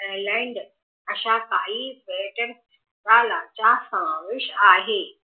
ऎर्लीनेड अशा काही पर्यटन स्थळाचा समावेश आहे